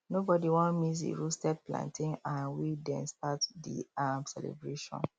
nobody wan miss the roasted plantain um wey dey start the um celebration